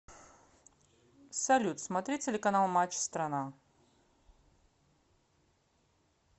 салют смотреть телеканал матч страна